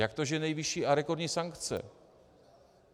Jak to, že nejvyšší a rekordní sankce?